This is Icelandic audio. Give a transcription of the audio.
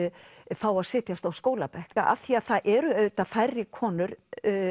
fá að setjast á skólabekk af því það eru auðvitað færri konur